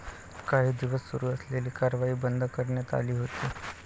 काही दिवस सुरू असलेली कारवाई बंद करण्यात आली होती.